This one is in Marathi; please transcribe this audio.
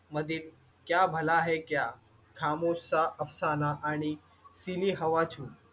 मधील क्या भला है क्या खामोश सा अफसाना आणि सिली हवा छू